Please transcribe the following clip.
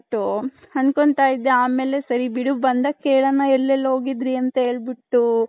ಅಂದ್ಕೊಂಡ್ತೈದೆ ಆಮೇಲೆ ಸರಿ ಬಿಡು ಬಂದಾಗ್ ಕೆಳನ ಎಲಿಲಿ ಹೋಗಿದ್ವಿ ಅಂದ್ಬುಟೂ.